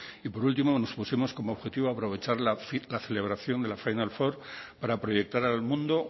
y por último nos pusimos como objetivo aprovechar la celebración de la final four para proyectar al mundo